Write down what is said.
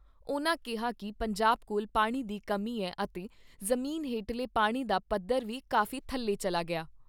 ਉਨ੍ਹਾਂ ਕਿਹਾ ਕਿ ਪੰਜਾਬ ਕੋਲ ਪਾਣੀ ਦੀ ਕਮੀ ਐ ਅਤੇ ਜ਼ਮੀਨ ਹੇਠਲੇ ਪਾਣੀ ਦਾ ਪੱਧਰ ਵੀ ਕਾਫ਼ੀ ਥੱਲੇ ਚੱਲਾ ਗਿਆ ।